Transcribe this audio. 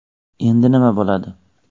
Endi nima bo‘ladi?.